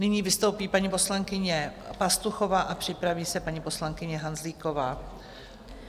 Nyní vystoupí paní poslankyně Pastuchová a připraví se paní poslankyně Hanzlíková.